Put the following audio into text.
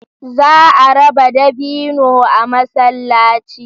Za a raba dabino a masallaci